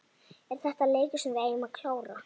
Er þetta leikur sem við eigum að klára?